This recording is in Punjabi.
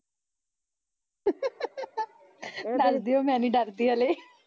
ਦੱਸ ਦਿਓ ਮੈਨੀ ਡਰਦੀ ਹਲੇ